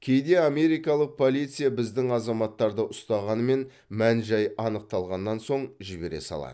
кейде америкалық полиция біздің азаматтарды ұстағанымен мән жай анықталғаннан соң жібере салады